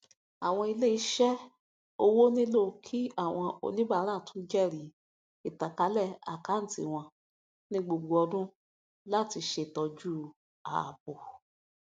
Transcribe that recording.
àwọn iléiṣẹ owó nílò kí àwọn oníbàárà tún jẹrìí ìtànkálẹ àkántì wọn ní gbogbo ọdún láti ṣètọju ààbò